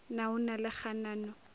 na o na le kganano